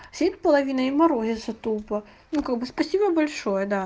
половинное мороза тупо ну как бы спасибо большое